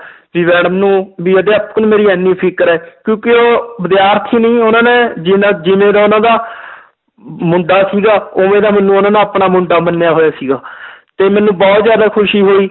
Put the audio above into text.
ਵੀ madam ਨੂੰ ਵੀ ਅਧਿਆਪਕ ਨੂੰ ਮੇਰੀ ਇੰਨੀ ਫ਼ਿਕਰ ਹੈ ਕਿਉਂਕਿ ਉਹ ਵਿਦਿਆਰਥੀ ਨੂੰ ਵੀ ਉਹਨਾਂ ਨੇ ਜਿੰਨਾ ਜਿਵੇਂ ਦਾ ਉਹਨਾਂ ਦਾ ਮੁੰਡਾ ਸੀਗਾ ਉਵੇਂ ਦਾ ਮੈਨੂੰ ਉਹਨਾਂ ਨੇ ਆਪਣਾ ਮੁੰਡਾ ਮੰਨਿਆ ਹੋਇਆ ਸੀਗਾ ਤੇ ਮੈਨੂੰ ਬਹੁਤ ਜ਼ਿਆਦਾ ਖ਼ੁਸ਼ੀ ਹੋਈ